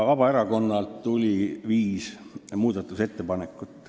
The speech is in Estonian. Vabaerakonnalt tuli viis muudatusettepanekut.